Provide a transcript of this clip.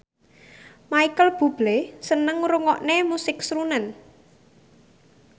Micheal Bubble seneng ngrungokne musik srunen